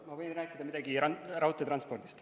Ma võin rääkida midagi raudteetranspordist.